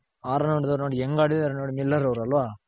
R run ಹೊಡೆದ್ರು ನೋಡಿ ಹೆಂಗ್ ಹಾಡಿದರ್ ನೋಡಿ ಮಿಲ್ಲರ್ ಅವ್ರ್ ಅಲ್ವ.